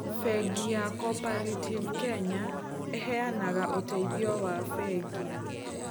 Bengi ya Cooperative Kenya ĩheanaga ũteithio wa bengi.